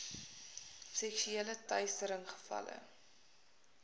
seksuele teistering gevalle